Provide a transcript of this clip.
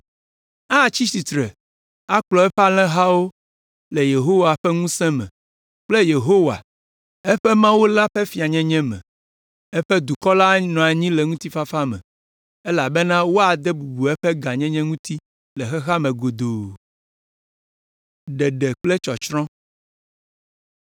Atsi tsitre akplɔ eƒe alẽhawo le Yehowa ƒe ŋusẽ me kple Yehowa, eƒe Mawu la ƒe fianyenye me. Eƒe dukɔ la anɔ anyi le ŋutifafa me elabena woade bubu eƒe gãnyenye ŋuti le xexea me godoo.